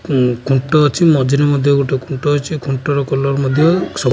ଖୁଁ ଖୁଣ୍ଟ ଅଛି ମଝିରେ ମଧ୍ୟ ଗୋଟେ ଖୁଣ୍ଟ ଅଛି ଖୁଣ୍ଟର କଲର୍ ମଧ୍ୟ ସ।